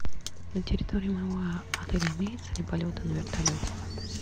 на территории моего отеля имеются ли полеты на вертолете